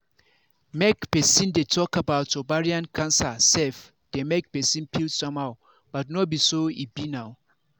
make persin dey talk about ovarian cancer sef dey make persin feel somehow but no be so e be now